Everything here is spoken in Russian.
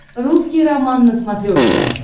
русский роман на смотрешке